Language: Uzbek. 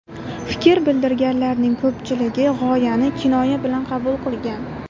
Fikr bildirganlarning ko‘pchiligi g‘oyani kinoya bilan qabul qilgan.